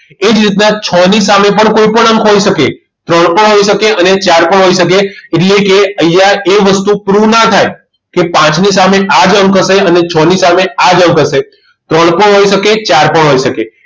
એ જ રીતના છ ની સામે પણ કોઈ પણ અંક હોઈ શકે ત્રણ પણ હોઈ શકે અને ચાર પણ હોઈ શકે એટલે કે અહીંયા એ વસ્તુ proof ના થાય કે પાંચની સામે આ જ અંક હશે અને છ ની સામે આ જ અંક હશે ત્રણ પણ હોઈ શકે ચાર પણ હોઈ શકે